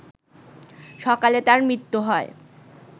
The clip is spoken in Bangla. সকালে তার মৃত্যু হয়